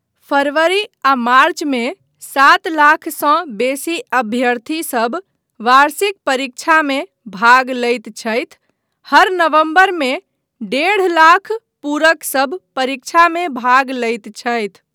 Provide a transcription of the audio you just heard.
फरवरी आ मार्च मे सात लाखसँ बेसी अभ्यर्थीसभ वार्षिक परीक्षामे भाग लैत छथि, हर नवंबरमे डेढ़ लाख पूरकसभ परीक्षामे भाग लैत छथि।